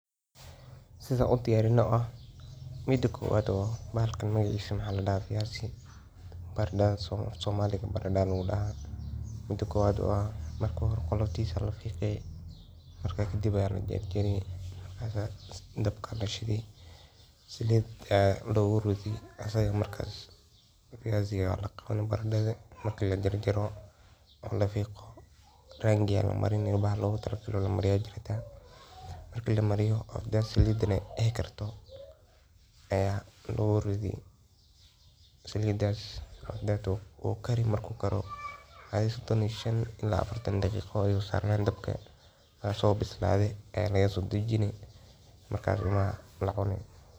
Maskaxda waa xarunta ugu muhiimsan ee jidhka bini'aadamka, fiyasi madonge waana halka laga hago dhammaan hawlaha jirka iyo dareenka. Waxa maskaxda ku socda waa fikir, xusuus, qorsheyn, dareen, iyo go’aan qaadasho. Maalin kasta, maskaxda waxay la tacaalaysaa xog fara badan oo ka timaadda aragga, maqalka, taabashada, urta, iyo dhadhanka, waxaana ay si degdeg ah u falanqaysaa xogtaas si qofku ugu jawaabo si habboon. Marka qofku fikirayo, maskaxda waxay shaqo culus ka qabataa isku xirka xusuusta hore iyo xogta cusub si loo gaaro go’aan ama loo xalliyo dhibaato. Sidoo kale, marka dareenno kala duwan oo ay ka mid yihiin farxad, murugo, cabsi, iyo rajo ay soo baxaan, maskaxda ayaa ah tan isku dubarida falcelintaas. Intaa waxaa dheer, maskaxdu waxay xakameysaa dhaqdhaqaaqa jirka iyadoo la maraysa neerfayaasha. Tusaale ahaan, haddii qofku doonayo inuu socdo, maskaxda ayaa farriin u dirta muruqyada lugaha si ay u dhaqaaqaan. Sidoo kale, haddii qofku dareemo hanwayn ama cabsasho, maskaxdu waxay soo daaysaa kiimikooyin saamayn ku leh jirka oo dhan.